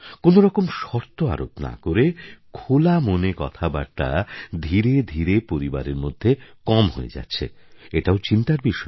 কোনো রকম শর্ত আরোপ না করে খোলা মনে কথাবার্তা ধীরে ধীরে পরিবারের মধ্যে কম হয়ে যাচ্ছে এটাও চিন্তার বিষয়